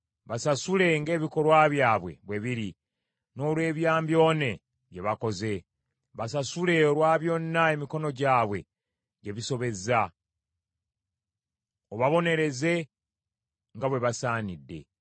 Basasule ng’ebikolwa byabwe bwe biri, n’olw’ebyambyone bye bakoze. Basasule olwa byonna emikono gyabwe gye bisobezza, obabonereze nga bwe basaanidde.